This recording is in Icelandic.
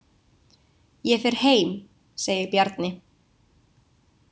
Ég fer heim, segir Bjarni.